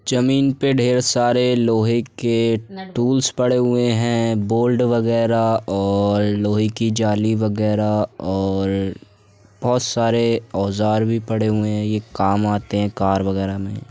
जमीन पे ढेर सारे लोहै के टूल्स पड़े हुए हैं बोल्ड वगैरा और लोहै की जाली वगैरा और बोहोत सारे औज़ार भी पड़े हुए हैं ये काम आते हैं कार वगैरा में।